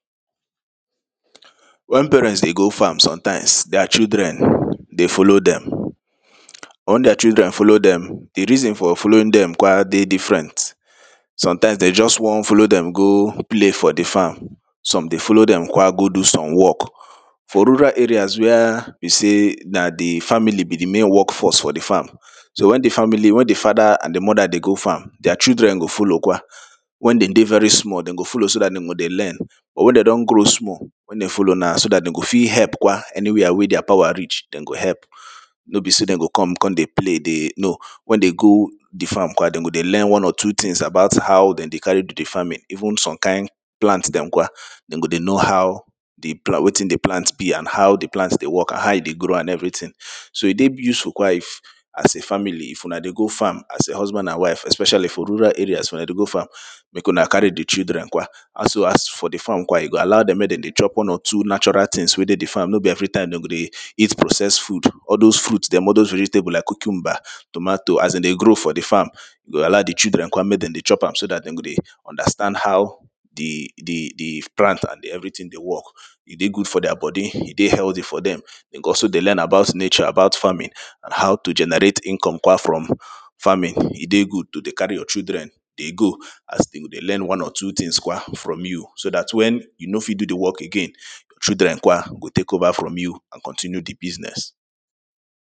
wen parents dey go farms sometimes dier children de follow dem wen dier children follow dem de reason for following dem kwa de different sometimes de just one fellow dem go play for de farm some de follow kwa go do some work for rural areas wia be sey na de family be de main work force for de farm so wen de family wen de fada and de moda de go farm dier children go follow kwa wen dem de very small dem go follow so dat dem go dey learn or wen dey don grow small wen dem follow now so dat dem go fit help kwa anywhere wey dier power reach dem go help no be sey dem go come come de play dey no wen dey go de farm kwa dem go de learn one or two things about how dem de carry do de farming even some kind plant dem kwa dem go dey know how de wetin de plant be and how de plant de work how e dey grow and everything so e dey useful kwaif as a family if una dey go farm as a husband and wife especially for rural areas if una dey go farm make una carry de children kwa as for de farm kwa you go allow dem make dem chop one or two natural things wey dey de farm no be every time dem go dey eat processed food all dos fruits dem all dos vegetables like cucumba tomato as dem dey grow for de farm you go allow de children kwa make dem dey chop am so dat dem go dey understand how de de de plant and everything de work e dey good for dier body e dey healthy for dem dem go also dey learn about nature about farming and how to generate income kwa from farming e dey good to de carry your children de go as dem de learn one or two things kwa from you so dat wen you no fit do de work again children kwa go take over from you and continue de business